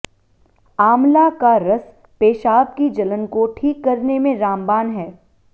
आमला का रस पेशाब की जलन को ठीक करने में रामबाण है